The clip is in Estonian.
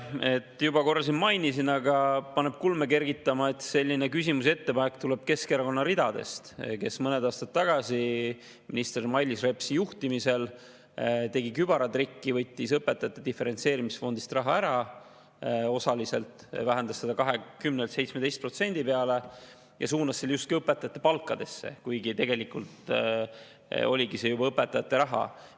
Ma juba korra mainisin seda, aga paneb kulme kergitama, et selline küsimus ja ettepanek tuleb Keskerakonna ridadest, sest mõned aastad tagasi tegi minister Mailis Repsi juhtimisel kübaratriki, võttis õpetajate diferentseerimisfondist raha osaliselt ära, vähendas seda 20%-lt 17% peale, ja suunas selle justkui õpetajate palkadesse, kuigi tegelikult see oligi juba õpetajate raha.